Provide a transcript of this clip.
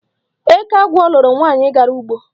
Eke agwọ loro nwaanyị gara ugbo.